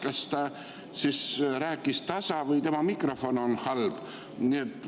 Kas ta rääkis tasa või tema mikrofon on halb?